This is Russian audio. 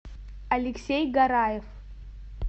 алексей гараев